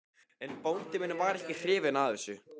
En bóndi minn var ekki hrifinn af þessu.